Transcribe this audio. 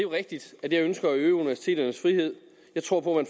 rigtigt at jeg ønsker at øge universiteternes frihed jeg tror på at